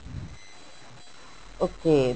okay